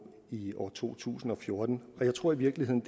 i år to tusind og fjorten og jeg tror i virkeligheden